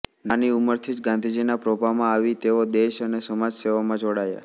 નાની ઉંમરથી જ ગાંધીજીના પ્રભાવમાં આવી તેઓ દેશ અને સમાજ સેવામાં જોડાયા